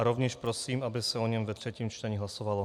A rovněž prosím, aby se o něm ve třetím čtení hlasovalo.